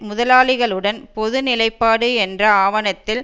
முதலாளிகளுடன் பொது நிலைப்பாடு என்ற ஆவணத்தில்